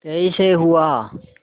कैसे हुआ